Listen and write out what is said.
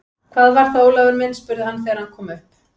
Hvað var það, Ólafur minn? spurði hann þegar hann kom upp.